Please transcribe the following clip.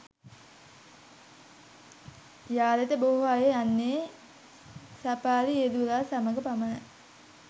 යාලට බොහෝ අය යන්නේ සෆාරි රියදුරා සමග පමණයි.